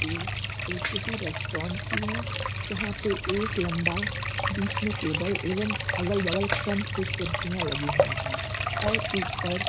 ये ये किसी रेस्टोरेंट की है। यहाँ पे एक लंबा बीच में टेबल एवम अगल बगल क्रम से कुर्सियां लगी हुई हैं और ऊपर --